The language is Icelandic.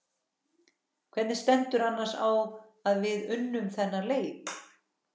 Hvernig stendur annars á að við unnum þennan leik?